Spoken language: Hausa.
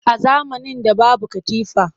A zamanin da babu katifa